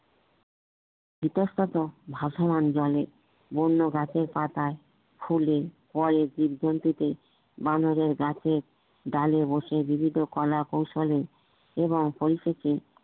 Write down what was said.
বিদ্বস্তত ভাসমান জানে বন্য গাছের পাতাই ফুলে ভয়ে জীবজন্তুতে বানরের গাছেরডালে বসে বিভিন্ন কলা কৌশলে এবং পরিশেষে